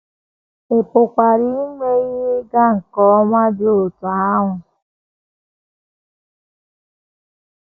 Ị pụkwara inwe ihe ịga nke ọma dị otú ahụ.